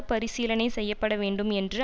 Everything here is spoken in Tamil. பரிசீலனை செய்ய படவேண்டும் என்று